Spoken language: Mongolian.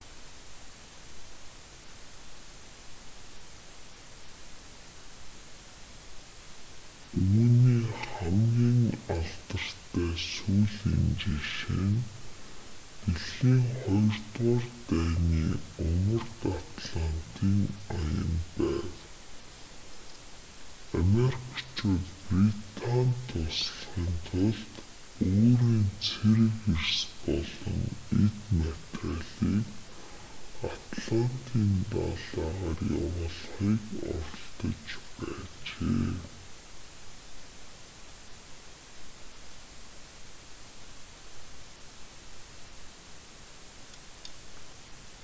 үүний хамгийн алдартай сүүлийн жишээ нь дэлхийн ii дайны умард атлантын аян байв америкчууд британид туслахын тулд өөрийн цэрэг эрс болон эд материалыг атлантын далайгаар явуулахыг оролдож байжээ